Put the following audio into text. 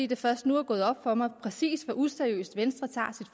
det først nu er gået op for mig præcis hvor useriøst venstre tager